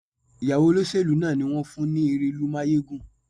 Ìyàwó olóṣèlú náà ni wón fún ní erelú máyégún.